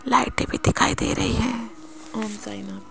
लाइटें भी दिखाई दे रही है। ओम साई राम।